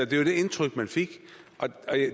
det indtryk man fik